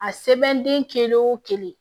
A sɛbɛnden kelen o kelen